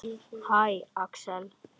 Hæ, Axel.